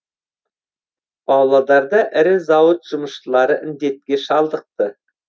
павлодарда ірі зауыт жұмысшылары індетке шалдықты